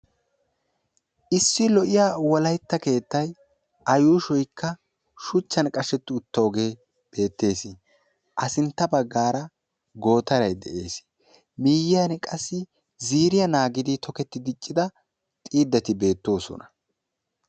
Issi lo"iyaa wolaytta keettay a yuushshoyikka shuchchan qashshetti uttoogee beettees. a sintta baggaara gootaray de'ees. miyiyaan qassi ziiriyaa naagidi toketti diccida xiidati beettoosona.